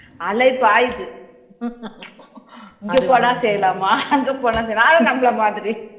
இங்க போனா செய்லாமா அங்க போனா செய்லாமா ஆனா நம்மள மாதிரி